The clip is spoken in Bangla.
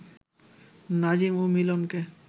নাজিম ও মিলনকে